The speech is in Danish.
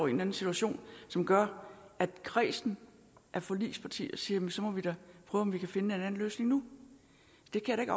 en situation som gør at kredsen af forligspartier siger så må vi da prøve om vi kan finde en anden løsning nu det kan